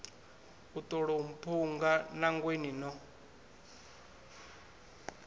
u tolou mphunga nangweni no